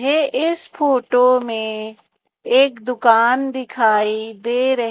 ये इस फोटो में एक दुकान दिखाई दे--